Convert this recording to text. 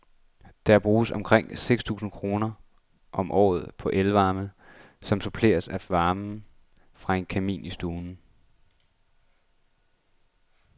Der bruges omkring seks tusinde kroner om året på el-varme, som suppleres af varme fra en kamin i stuen.